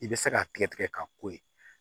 I bɛ se k'a tigɛ tigɛ k'a ko ye